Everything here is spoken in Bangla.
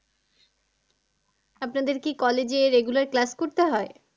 আপনাদের কি college এ regular class করতে হয়?